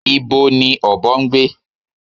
Ibo ni ọ̀bọ ń gbé?